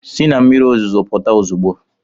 Si na mmiri ozuzo pụta ozugbo!